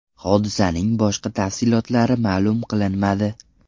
Hodisaning boshqa tafsilotlari ma’lum qilinmadi.